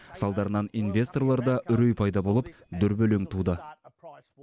салдарынан инвесторларда үрей пайда болып дүрбелең туды